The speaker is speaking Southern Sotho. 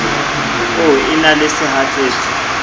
o e na le sehatsetsi